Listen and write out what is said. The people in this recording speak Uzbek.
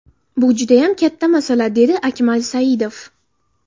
Bu judayam katta masala”, dedi Akmal Saidov.